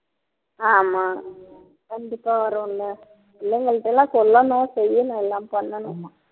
ஆமா கண்டிப்பா வரும்ல பிள்ளைங்கள்ட்ட எல்லாம் சொல்லணும் செய்யணும் எல்லாம் பண்ணணும்